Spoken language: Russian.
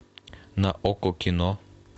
на окко кино